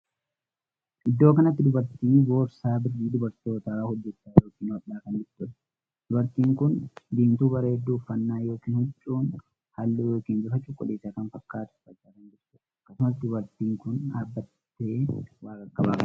Iddoo kanatti dubartii boorsaa birrii dubartoota hojjechaa ykn hodhaa kan jirtuudha. Dubartiin kun diimtuu bareedduu uffannaan ykn huccuun ishee halluu ykn bifa cuquliisa kan fakkaatu uffachaa kan jirtuudha. Akkasumas dubartiin kun dhaabbattee waa qaqqabaa kan jirtuudha.